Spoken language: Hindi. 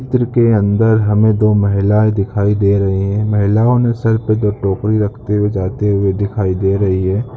चित्र के अंदर हमें दो महिलाएं दिखाई दे रही है महिलाओं ने सर पे दो टोकरी रखते हुए जाते हुए दिखाई दे रही हैं।